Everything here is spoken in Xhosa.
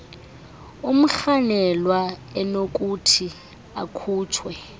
umrhanelwa enokuthi akhutshwe